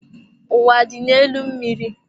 Ụwa dị n'elu mmiri.